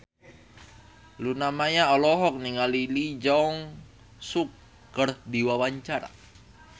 Luna Maya olohok ningali Lee Jeong Suk keur diwawancara